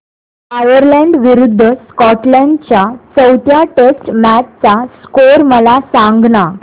Ireland विरूद्ध Scotland च्या चौथ्या टेस्ट मॅच चा स्कोर मला सांगना